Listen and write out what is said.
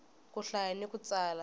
ku hlaya ni ku tsala